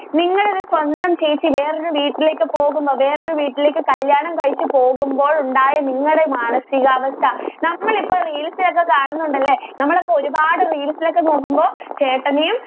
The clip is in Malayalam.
നിങ്ങളുടെ സ്വന്തം ചേച്ചി വേറെ ഒരു വീട്ടിലേക്ക് പോകുമ്പോൾ വേറെ ഒരു വീട്ടിലേക്ക് കല്യാണം കഴിച്ചു പോകുമ്പോൾ ഉണ്ടായ നിങ്ങളുടെ മാനസിക അവസ്ഥ നമ്മൾ ഇപ്പോൾ reels ഒക്കെ കാണുന്നുണ്ടല്ലോ നമ്മളൊക്കെ ഒരുപാട് reels ഒക്കെ നോക്കുമ്പോൾ ചേട്ടനെയും